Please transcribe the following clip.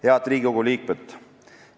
Head Riigikogu liikmed!